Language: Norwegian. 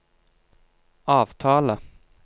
avtale